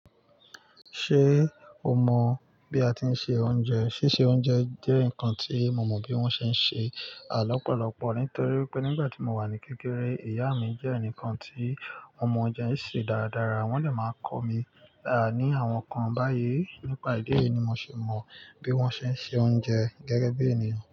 Ṣé o mọ bí a ti ń se oúnjẹ? Síse oúnjẹ jẹ́ nǹkan tí mo mọ bí wọ́n ṣe ń ṣe lọ́pọ̀lọ́pọ̀ nítorí pé nígbà tí mo wà ní kékeré, ìyá mi jẹ́ ẹnìkan tí o mọ̀ ọúnjẹ ṣé dáradára. Wọ́n dè máa n kọ́ mi ní àwọn nǹkan báyìí, nípa ìdí èyí ni mo ṣe mọ bí wọ́n ṣe ń se oúnjẹ gẹ́gẹ́ bí ènìyàn.